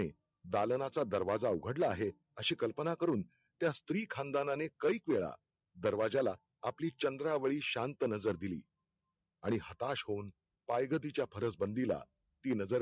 दालनाचा दरवाजा उघडला आहे, अशी कल्पना करुन त्या स्त्रीखानदानाने कईक वेळा दरवाज्याला आपली चंद्रावळी शांत नजर दिली आणि हताश होऊन पायगतीच्या फरसबंदिला ती नजर